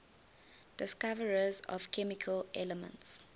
discoverers of chemical elements